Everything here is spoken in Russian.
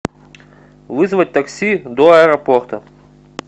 вызвать такси до аэропорта